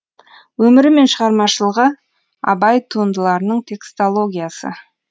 өмірі мен шығармашылығы абай туындыларының текстологиясы